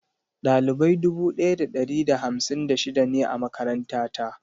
Ɗalibai dubu daya da ɗari da hamsin da shida ne a makaranta ta.